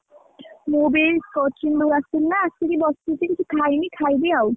ମୁଁ ବି କଚୁମ୍ବର ଆସିଲା ଆସିକି ବସିଛି କିଛି ଖାଇନି ଖାଇବି ଆଉ।